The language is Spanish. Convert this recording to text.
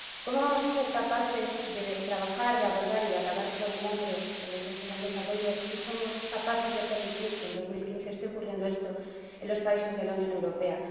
¿Cómo vamos a ser capaces de trabajar, de abordar y de acabar con el hambre en los países en desarrollo si somos capaces de permitir que en 2015 esté ocurriendo esto en los países de la Unión Europea?